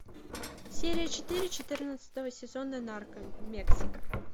серия четыре четырнадцатого сезона нарко мексика